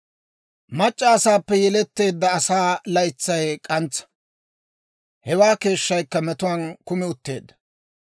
«Mac'c'a asaappe yeletteedda asaa laytsay k'antsa; hewaa keeshshaakka metuwaan kumi utteedda.